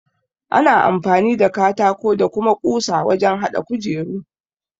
Ana amfani da katako da kuma ƙusa wajen haɗa kujeru.